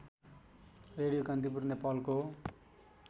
radio Kantipur नेपालको